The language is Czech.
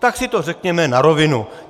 Tak si to řekněme na rovinu!